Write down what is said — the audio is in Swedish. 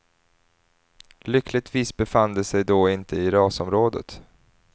Lyckligtvis befann de sig då inte i rasområdet.